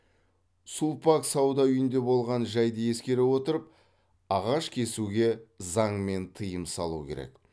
сулпак сауда үйінде болған жайды ескере отырып ағаш кесуге заңмен тыйым салу керек